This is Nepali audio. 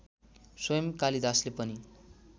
स्वयं कालिदासले पनि